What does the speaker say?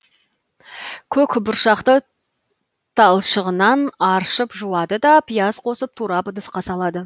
көк бұршақты талшығынан аршып жуады да пияз қосып турап ыдысқа салады